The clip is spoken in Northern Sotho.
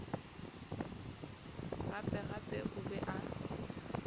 gape gape o be a